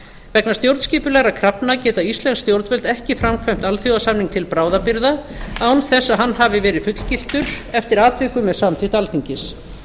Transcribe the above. vegna stjórnskipulegra krafna geta íslensk stjórnvöld ekki framkvæmt alþjóðasamning til bráðabirgða án þess að hann hafi verið fullgiltur eftir atvikum með samþykkt alþingis